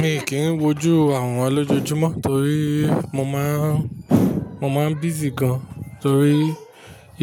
Mi kì í wójú àworan lójoojúmọ́ torí mo maa n mo máa, mo máa busy gan torí